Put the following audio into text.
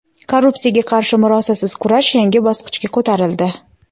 Korrupsiyaga qarshi murosasiz kurash yangi bosqichga ko‘tarildi.